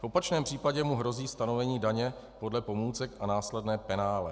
V opačném případě mu hrozí stanovení daně podle pomůcek a následné penále.